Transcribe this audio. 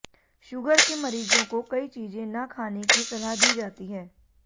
sugar के मरीजों को कई चीजें न खाने की सलाह दी जाती है